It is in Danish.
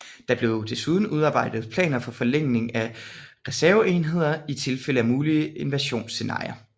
Der blev desuden udarbejdet planer for forlægninger af reserveenheder i tilfælde af mulige invasionsscenarier